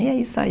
E é isso aí.